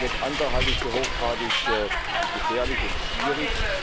Alles andere halte ich für hochgradig gefährlich und schwierig.